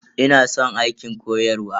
Ina san aikin koyarwa.